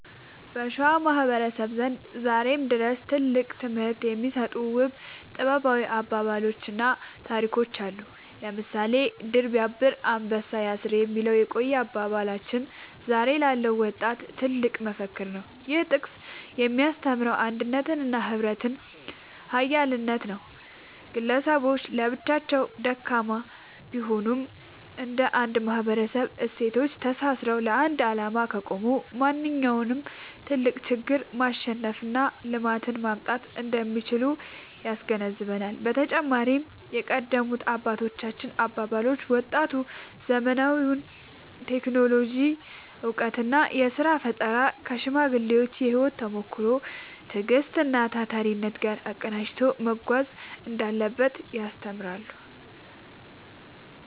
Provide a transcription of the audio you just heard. በሸዋ ማህበረሰብ ዘንድ ዛሬም ድረስ ትልቅ ትምህርት የሚሰጡ ውብ ጥበባዊ አባባሎችና ታሪኮች አሉ። ለምሳሌ «ድር ቢያብር አንበሳ ያስር» የሚለው የቆየ አባባላችን ዛሬ ላለው ወጣት ትልቅ መፈክር ነው። ይህ ጥቅስ የሚያስተምረው የአንድነትንና የህብረትን ኃይል ነው። ግለሰቦች ለብቻቸው ደካማ ቢሆኑም፣ እንደ አንድ ማህበራዊ እሴቶች ተሳስረው ለአንድ ዓላማ ከቆሙ ማንኛውንም ትልቅ ችግር ማሸነፍና ልማትን ማምጣት እንደሚችሉ ያስገነዝባል። በተጨማሪም የቀደሙት አባቶች አባባሎች፣ ወጣቱ ዘመናዊውን የቴክኖሎጂ እውቀትና የሥራ ፈጠራ ከሽማግሌዎች የህይወት ተሞክሮ፣ ትዕግስትና ታታሪነት ጋር አቀናጅቶ መጓዝ እንዳለበት ያስተምራሉ።